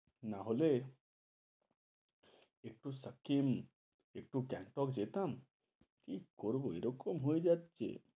নাহলে একটু একটু সাকিম, একটু গ্যাঙ্গটক যেতাম কি করব এরকম হয়ে যাচ্ছে।